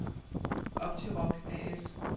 Optiroc A/S